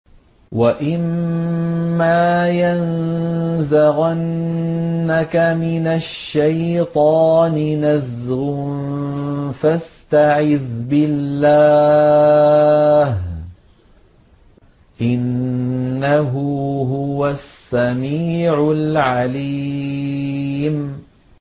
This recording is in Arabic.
وَإِمَّا يَنزَغَنَّكَ مِنَ الشَّيْطَانِ نَزْغٌ فَاسْتَعِذْ بِاللَّهِ ۖ إِنَّهُ هُوَ السَّمِيعُ الْعَلِيمُ